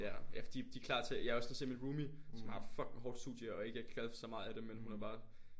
Ja ja fordi de klar til jeg har også lige set min roomie som har et fucking hårdt studie og ikke er glad for så meget af det men hun er bare